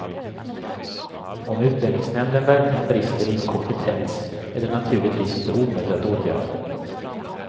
Om utlänningsnämnden verkligen brister i kompetens är det naturligtvis inte omöjligt att åtgärda.